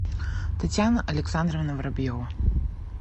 татьяна александровна воробьева